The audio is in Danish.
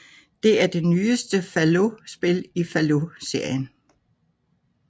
Det er det nyeste Fallout spil i Fallout serien